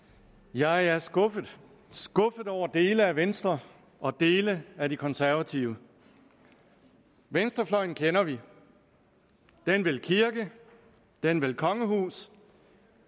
jeg er skuffet skuffet over dele af venstre og dele af de konservative venstrefløjen kender vi den vil kirke den vil kongehus